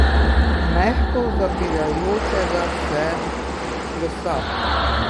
Mehko zapirajočega se lesa!